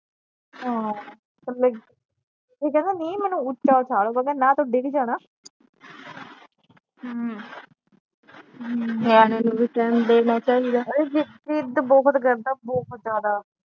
ਹਾਂ ਥੱਲੇ ਇਹ ਕਹਿੰਦਾ ਨਹੀਂ ਮੈਨੂੰ ਉੱਚਾ ਉਠਾਲੋ ਮੈ ਕਿਹਾ ਨਾ ਤੂੰ ਡਿੱਗ ਜਾਣਾ ਇਹ ਜ਼ਿਦ ਜ਼ਿੱਦ ਬਹੁਤ ਕਰਦਾ ਬਹੁਤ ਜਿਆਦਾ